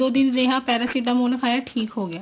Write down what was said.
ਦੋ ਦਿਨ ਰਿਹਾ paracetamol ਖਾਇਆ ਠੀਕ ਹੋਗਿਆ